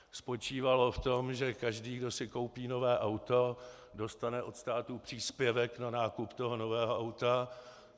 Spočívalo v tom, že každý, kdo si koupí nové auto, dostane od státu příspěvek na nákup toho nového auta.